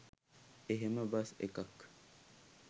එහෙම බස් එකක්